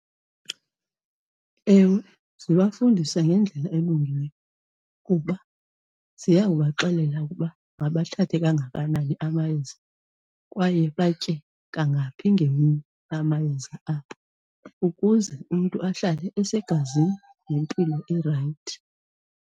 Ewe, zibafundisa ngendlela elungileyo kuba ziya kubaxelela ukuba mabathathe kangakanani amayeza kwaye batye kangaphi ngemini amayeza abo ukuze umntu ahlale esegazini nempilo erayithi.